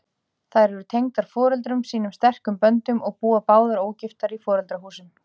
Þær eru tengdar foreldrum sínum sterkum böndum og búa báðar ógiftar í foreldrahúsum.